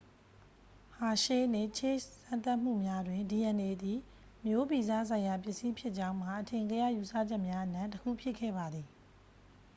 ဟာရှေး နှင့် ချေ့စ် စမ်းသပ်မှုများတွင် dna သည် မျိုးဗီဇဆိုင်ရာပစ္စည်းဖြစ်ကြောင်းမှာ အထင်ကရယူဆချက်များအနက် တစ်ခုဖြစ်ခဲ့ပါသည်